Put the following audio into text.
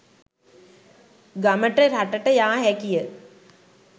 ගමට රටට යා හැකිය.